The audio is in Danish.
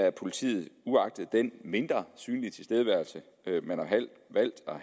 at politiet uagtet den mindre synlige tilstedeværelse man har valgt